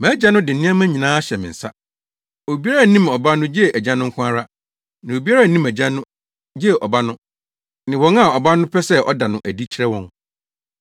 “Mʼagya no de nneɛma nyinaa ahyɛ me nsa. Obiara nnim Ɔba no gye Agya no nko ara. Na obiara nnim Agya no gye Ɔba no, ne wɔn a Ɔba no pɛ sɛ ɔda no adi kyerɛ wɔn.